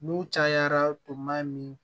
N'u cayara tuma min